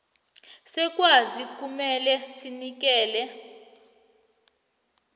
selwazi kumele sinikele